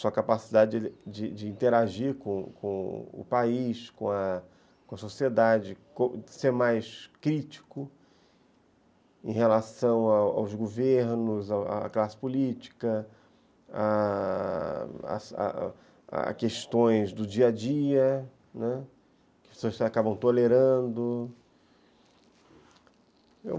sua capacidade de de de interagir com o país, com a sociedade, ser mais crítico em relação aos governos, à classe política, a questões do dia a dia, né, que as pessoas acabam tolerando.